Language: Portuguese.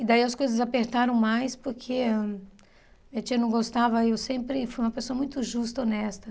E daí as coisas apertaram mais, porque minha tia não gostava e eu sempre fui uma pessoa muito justa, honesta.